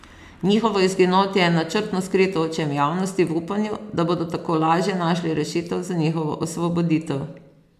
Njihovo izginotje je načrtno skrito očem javnosti v upanju, da bodo tako lažje našli rešitev za njihovo osvoboditev.